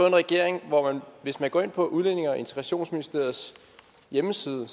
en regering hvor man hvis man går ind på udlændinge og integrationsministeriets hjemmeside